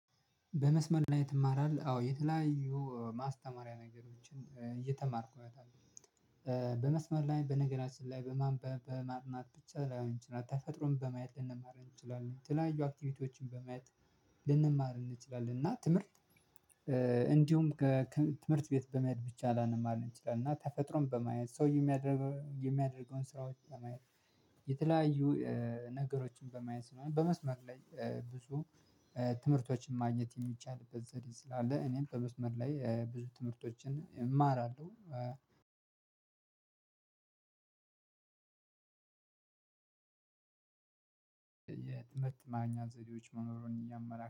"በመስመር ላይ ትማራለህ?" አዎ የተለያዩ ማስተማሪያ ነገሮችን እየተማርኩኝ አታለም። በመስመር ላይ በነገራችን ላይ በማንበብ በማጥናት ብቻ ላይሆን ይችላለ ተፈጥሮን በማየት ልንማር እንችላለን የተለያዩ አክቲቪቲዎችን በማየት ልንማር እንችላለን እና ትምህርት እንዲሁም ከትምህርት ቤት በመሄድ ብቻ ላንማር እንችላለን እና ተፈጥሮን በማየት፣ ሰው የሚያደር የሚያደርገውን ስራዎች በማየት፣ የተለያዩ ነገሮችን በማየት፣ ስለሆነ በመስመር ላይ ብዙ ትምህርቶችን ማግኘት የሚቻልበት ዘዴ ስላለ እኔም በመስመር ላይ ብዙ ትምህርቶችን እማራለሁ። የትምህርት ማግኛ ዘዴዎች መኖሩን እያመላከ